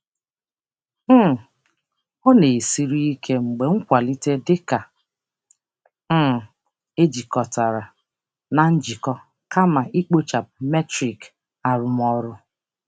Ọ na-esiri ike mgbe nkwalite dị ka ọ dabere na mmekọrịta kama nha arụmọrụ doro anya.